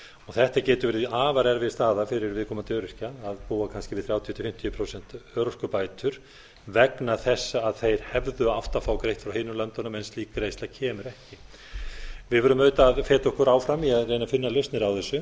þetta getur verið afar erfið staða fyrir viðkomandi öryrkja að búa kannski við þrjátíu til fimmtíu prósent örorkubætur vegna þess að þeir hefðu átt að fá greitt frá hinum löndunum en slík greiðsla kemur ekki við verðum auðvitað að feta okkur áfram í að reyna að finna lausnir